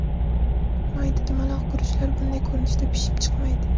Mayda, dumaloq guruchlar bunday ko‘rinishda pishib chiqmaydi.